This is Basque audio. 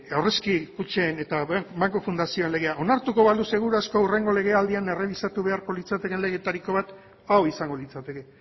aurrezki kutxen eta banku fundazioen legea onartuko balu seguru asko hurrengo legealdian errebisatu beharko litzatekeen legeetariko bat hau izango litzateke